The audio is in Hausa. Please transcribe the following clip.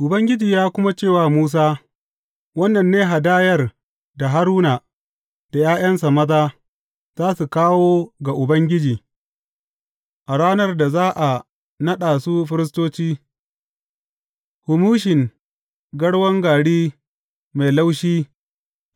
Ubangiji ya kuma ce wa Musa, Wannan ne hadayar da Haruna da ’ya’yansa maza za su kawo ga Ubangiji a ranar da za a naɗa su firistoci, humushin garwan gari mai laushi